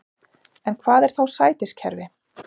En hvað er þá sætiskerfi?